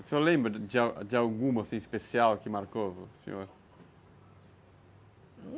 O senhor lembra de de alguma assim especial que marcou o senhor?